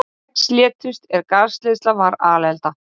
Sex létust er gasleiðsla varð alelda